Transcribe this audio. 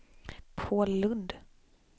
Paul Lundh